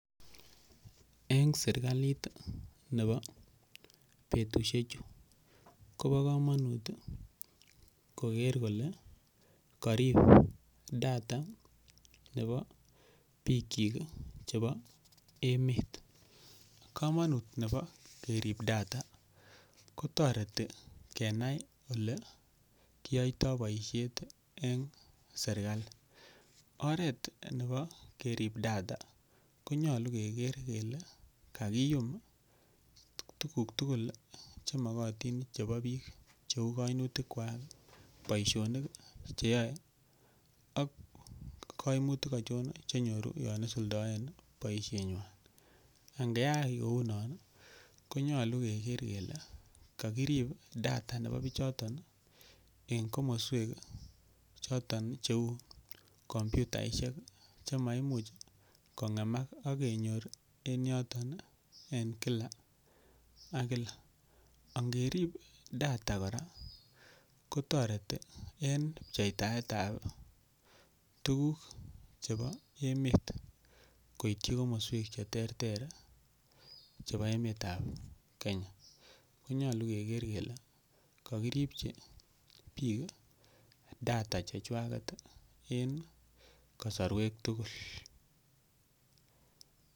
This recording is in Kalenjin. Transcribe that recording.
Eng' serikalit nepo petusiek chu kopa komanut koger kole karipok data chepo piik chik chepo emet komanut nepo kerip data kotoreti kenay ole kiyoytoy boisiet eng' serikali oret nepo kerip data konyolu keger kele kagiyum tuguk tugul chemakotin chepo piik cheu kaimutik kwach, boisionik cheyoe ak kaimutik achon chenyoru yon kisuldoen boisionik eng' boisionik chon, ngeyai kounon konyalu keger kele kagirip data nepo pichoton en komoswek choton cheu komputaishek chemaimuch kong'emak agenyor emet noton en kila ak kila angerip data koraa kotoreti en ketaet ab tuguk chepo emet koitchi komoswek cheterter chepa emet ab Kenya nyigeger kele kagirip data checho eng' kasarwek tugul.